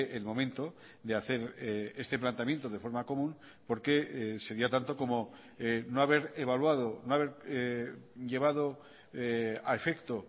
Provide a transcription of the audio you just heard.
el momento de hacer este planteamiento de forma común porque sería tanto como no haber evaluado no haber llevado a efecto